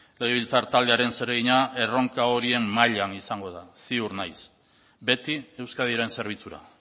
legebiltzar taldearen zeregina erronka horien mailan izango da ziur naiz beti euskadiren zerbitzura